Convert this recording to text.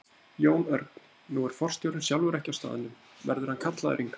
Jón Örn: Nú er forstjórinn sjálfur ekki á staðnum, verður hann kallaður hingað?